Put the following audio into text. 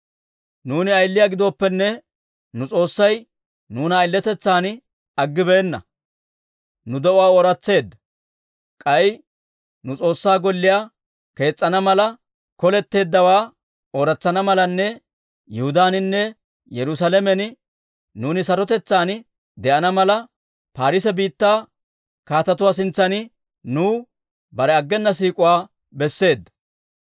Nuuni ayiliyaa giddooppene, nu S'oossay nuuna ayiletetsan aggibeenna; nu de'uwaa ooratseedda. K'ay nu S'oossaa Golliyaa kees's'ana mala, koletteeddaawaa ooratsana malanne Yihudaaninne Yerusaalamen nuuni sarotetsaan de'ana mala, Paarise biittaa kaatetuwaa sintsan nuw bare aggena siik'uwaa besseedda.